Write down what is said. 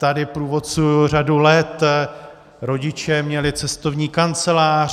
Tady průvodcuju řadu let, rodiče měli cestovní kancelář.